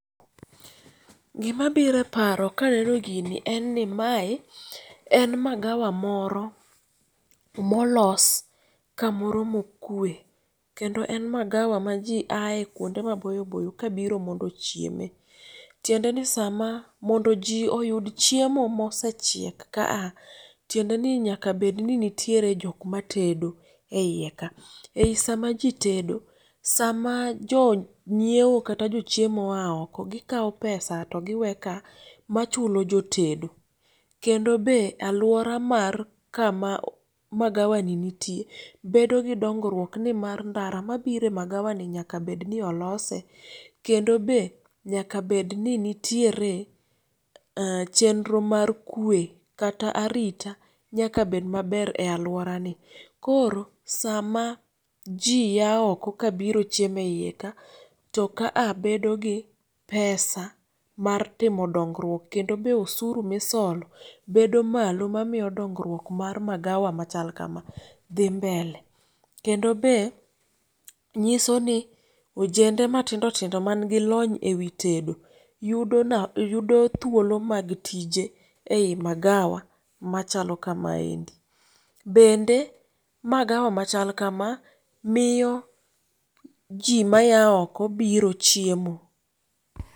Gima biro eparo kaneno gini en ni mae en magawa moro molos kamoro mokue. Kendo en magawa maji ae kuonde maboyo boyo kabiro mondo ochieme. Tiendeni sama mondo ji oyud chiemo mosechiek ka a ,tiendeni nyaka bedni nitiere jok matedo eiye ka. Eyi sama ji tedo sama jonyiewo kata jochiemo oa oko gikawo pesa to gi we ka machulo jotedo. Kendo be aluora mar kama magawani nitie bedogi dongruok nimar ndara mabiro e magawani nyaka bedni olose kendo be nyaka bedni nitiere ee chenro mar kwe kata arita nyaka bed maber e aluorani. Koro sama ji aa oko kabiro chiemo eiye ka, to ka a bedo gi pesa mar timo donguok kendo be osuru misolo bedo malo mamiyo dongruok mar magawa machal kama dhi mbele. Kendo be nyisoni ojende matindo tindo mangi lony ewi tedo yudo thuolo mag tije ei magawa machalo kamaendi. Bende magawa machal kama miyo ji maya oko biro chiemo.